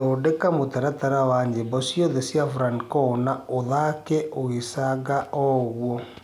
thondeka mũtaratara wa nyĩmbo cĩothe cĩa franco na ũthake ugicanga ooguo